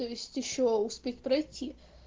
то есть ещё успеть пройти